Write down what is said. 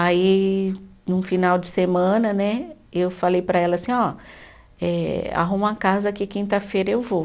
Aí, num final de semana né, eu falei para ela assim ó, eh arruma uma casa que quinta-feira eu vou.